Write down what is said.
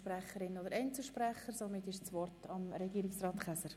Somit erteile ich das Wort Regierungsrat Käser.